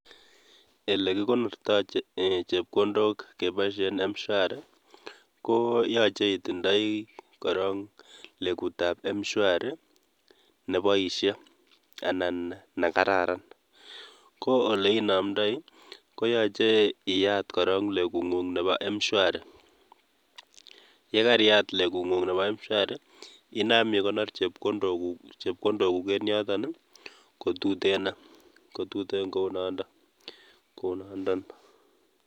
Elekikonorto chepkondok keboisien Mshwari koo yoche itindoi korong lekutab Mshwari neboisie anan nekararan ko oleinomdoi koyoche iyat korong lekung'ung nepo mshwari ,yakariyat lekung'ung nepo mshwari inam ikonor chepkondokuk, chepkondokuk en yoton kotutenon ,kotuten kotuten kou noondon.